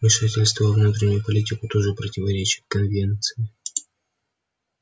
вмешательство во внутреннюю политику тоже противоречит конвенции